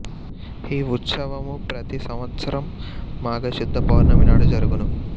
ఈ వుత్శావము ప్రతి సంవస్త్రం మాఘ శుద్ధ పౌర్ణమి నాడు జరుగును